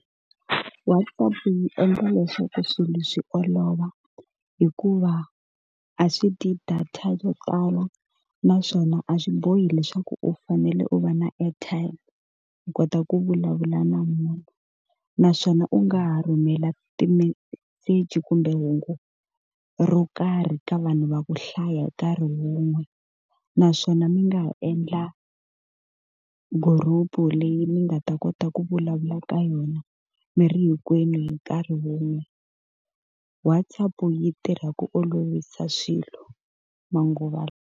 WhatsApp yi endla leswaku swilo swi olova hikuva a swi dyi data yo tala, naswona a swi bohi leswaku u fanele u va na airtime u kota ku vulavula na munhu. Naswona u nga ha rhumela timeseji kumbe hungu ro karhi ka vanhu va ku hlaya hi nkarhi wun'we. Naswona mi nga ha endla group-u leyi mi nga ta kota ku vulavula ka yona mirhi hinkwenu hi nkarhi wun'we. WhatsApp-u yi tirha ku olovisa swilo manguva lawa.